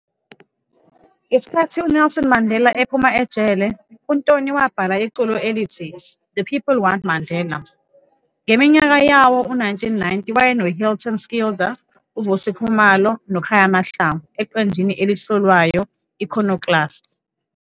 Ngesikhathi uNelson Mandela ephuma ejele, uNtoni wabhala iculo elithi "The People Want Mandela". Ngeminyaka yawo-1990 wayenoHilton Schilder, Vusi Khumalo noKhaya Mahalngu eqenjini elihlolwayo i-Iconoclast.